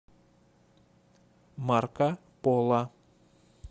марка пола